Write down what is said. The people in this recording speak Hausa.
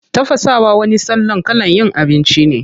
Tafasawa wani salon kalan yin abinci ne.